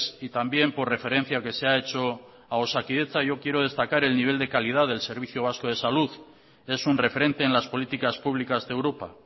y también por referencia que se ha hecho a osakidetza yo quiero destacar el nivel de calidad del servicio vasco de salud es un referente en las políticas públicas de europa